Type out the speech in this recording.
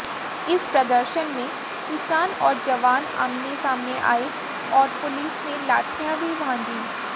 इस प्रदर्शन में किसान और जवान आमने सामने आए और पुलिस ने लाठियां भी भांजी